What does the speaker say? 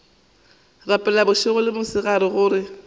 rapela bošego le mosegare gore